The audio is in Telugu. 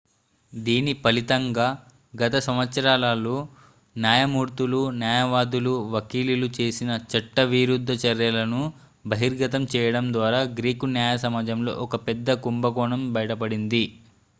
దీని ఫలితంగా గత సంవత్సరాలలో న్యాయమూర్తులు న్యాయవాదులు వకీలులు చేసిన చట్టవిరుద్ధ చర్యలను బహిర్గతం చేయడం ద్వారా గ్రీకు న్యాయ సమాజంలో ఒక పెద్ద కుంభకోణం బయటపడింది